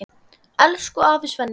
Elsku afi Svenni.